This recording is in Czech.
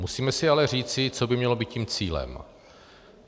Musíme si ale říci, co by mělo být tím cílem.